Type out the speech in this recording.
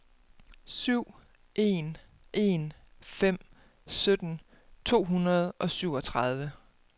syv en en fem sytten to hundrede og syvogtredive